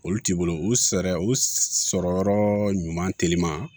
Olu t'i bolo u fɛɛrɛ u sɔrɔ yɔrɔ ɲuman teliman